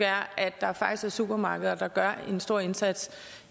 at der faktisk er supermarkeder der gør en stor indsats